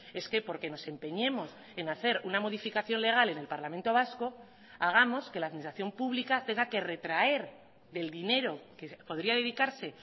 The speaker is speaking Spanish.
es que porque nos empeñemos en hacer una modificación legal en el parlamento vasco hagamos que la administración pública tenga que retraer del dinero que podría dedicarse